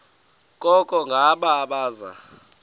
koko ngabo abaza